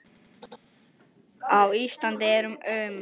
Á Íslandi eru um